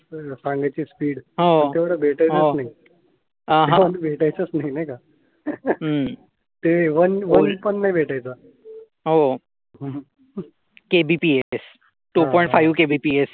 kbps two point five kbps